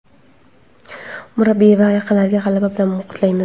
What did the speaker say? murabbiy va yaqinlarini g‘alaba bilan qutlaymiz!.